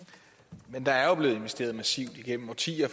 investere massivt